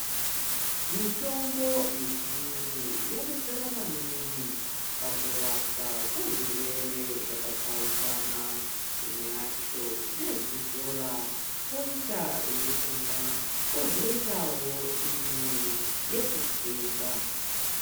Mitombo yechiyungu, yadetsera maningi ,pakurapwa kwezvirwere zvakatsaukana. Imwe yacho ndeyekuzora, poita yekumwa, pozoitawo imwe yekutsenga.